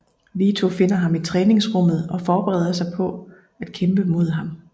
Vito finder ham i træningsrummet og forbereder sig på at kæmpe mod ham